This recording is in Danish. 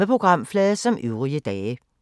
Samme programflade som øvrige dage